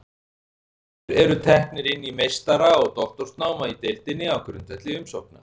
Nemendur eru teknir inn í meistara- og doktorsnám í deildinni á grundvelli umsókna.